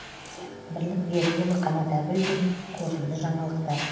бірлік берікұлы қанат әбілдин қорытынды жаңалықтар